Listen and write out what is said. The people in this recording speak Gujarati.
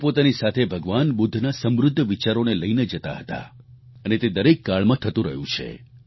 તેઓ પોતાની સાથે ભગવાન બુદ્ધના સમૃદ્ધ વિચારોને લઈને જાતા હતા અને તે દરેક કાળમાં થતું રહ્યું છે